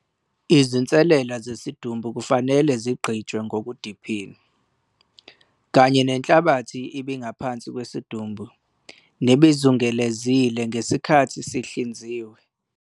Izinsalela zesidumbu kufanele zigqitshwe ngokudephile, kanye nenhlabathi ebingaphansi kwesidumbu nebizungelezile ngesikhathi sihlinziwe.